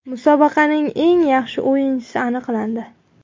Musobaqaning eng yaxshi o‘yinchisi aniqlandi.